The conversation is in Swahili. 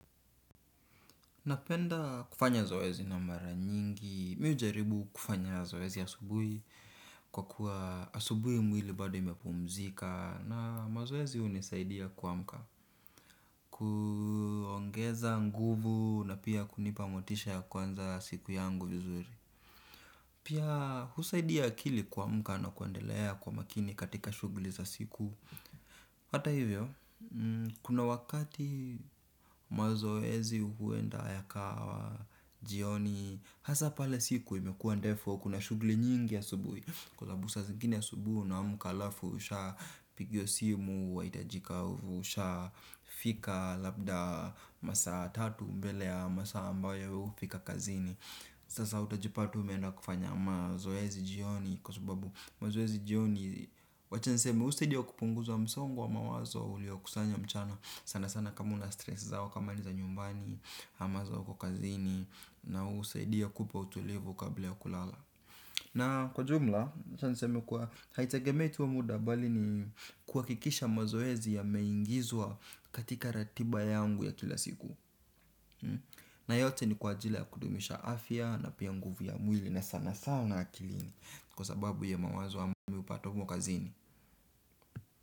Napenda kufanya zoezi na mara nyingi, mi hujaribu kufanya zoezi asubuhi kwa kuwa asubuhi mwili bado imepumzika na mazoezi hunisaidia kuamka, kuongeza nguvu na pia kunipa motisha ya kwanza siku yangu vizuri. Pia husaidia akili kuamuka na kuendelea kwa makini katika shughuli za siku. Hata hivyo, kuna wakati mazoezi huenda yakawa, jioni, hasa pale siku imekuwa ndefu au kuna shughuli nyingi asubuhi. Kwasababu zingine asubuhi unaamka alafu ushapigiwa simu wahitajika u usha fika labda masaa tatu mbele ya masaa ambayo hufika kazini. Sasa utajipata umeenda kufanya mazoezi jioni. Kwasababu mazoezi jioni wacha niseme husaidia kupunguza msongo wa mawazo. Ulioa kusanya mchana sana sana kama una stress zako. Kama ni za nyumbani, ama za uko kazini na husaidia kupa utulivu kabla ya kulala. Na kwa jumla wacha niseme kwa haitegemei tu muda bali ni kuhakikisha mazoezi yameingizwa katika ratiba yangu ya kila siku. Na yote ni kwa jila kudumisha afya na pia nguvu ya mwili na sana sana akilini. Kwa sababu ya mawazo ambayo mimi hupata huko kazini.